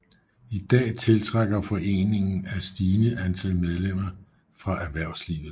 I dag tiltrækker foreningen et stigende antal medlemmer fra erhvervslivet